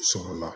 Sɔrɔla